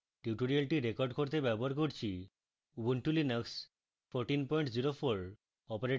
tutorial record করতে ব্যবহার করছি: